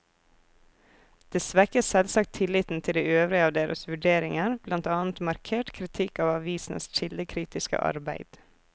Det svekker selvsagt tilliten til de øvrige av deres vurderinger, blant annet markert kritikk av avisenes kildekritiske arbeid.